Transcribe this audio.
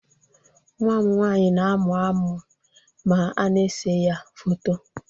Nwa m nwaanyị na amụ amụ ma a n'ese ya foto